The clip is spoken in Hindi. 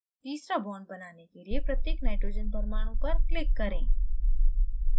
तीसरा bond बनाने के लिए प्रत्येक nitrogen परमाणु पर click करें